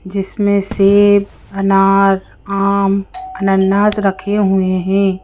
जिसमें सेब अनार आम अनन्नास रखे हुए हैं।